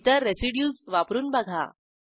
इतर रेसिड्यूज वापरून बघा